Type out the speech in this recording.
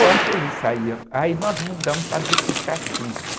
Só que ele saía... Aí nós mudamos para Duque de Caxias.